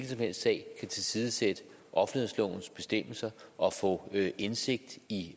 som helst sag kan tilsidesætte offentlighedslovens bestemmelser og få indsigt i